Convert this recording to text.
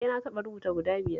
Eh na taɓa rubuta guda biyar